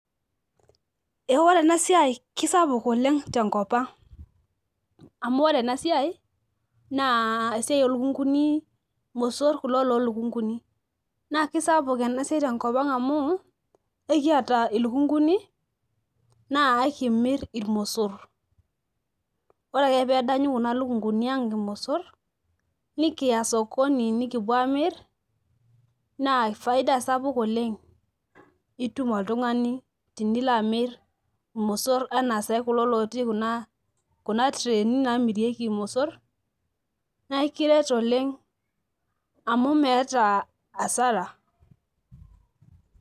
Ee ore enasiai kisapuk oleng tenkopang amu ore enasiai naa esiai olukunkuni , mosor kulo loolukunkuni naa kisapuk enasiai tenkopang amu ekiata ilukunkuni naa ekimir irmosor . Ore ake pedanyu kuna lukunkuni ang irmosor nikiya sokoni nikipuo amir naa faida sapuk oleng itum oltungani tinilaamir irmosor anaa sai kuna natii kuna , kuna kuna trani namirieki irmosor naa ikiret oleng amu meeta asara.